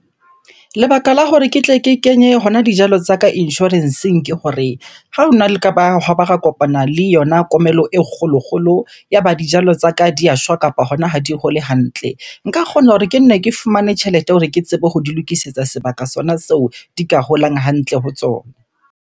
Lebaka la hore ke tle ke kenye hona dijalo tsa ka insurance-eng ke hore, ha hona le ka ba hwaba ra kopana le yona komello e kgolo-kgolo, ya ba dijalo tsaka di ya shwa kapa hona ha di hole hantle. Nka kgona hore ke nne ke fumane tjhelete hore ke tsebe ho di lokisetsa sebaka sona seo di ka holang hantle ho tsona.